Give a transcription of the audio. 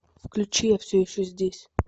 включи я все еще здесь